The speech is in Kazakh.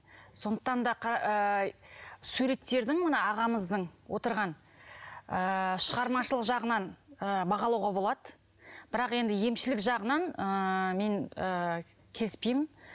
сондықтан да ы суреттердің мына ағамыздың отырған ы шығармашылық жағынан ы бағалауға болады бірақ енді емшілік жағынан ыыы мен ы келіспеймін